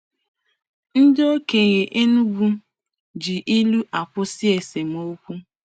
Ndị okenye Enugwu ji ilu akwụsị esemokwu.